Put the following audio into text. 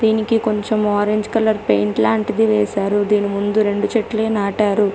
దీనికి కొంచెం orange colour paint లాంటిది వేశారు ఎదురుగా రెండు చెట్లే నాటారు.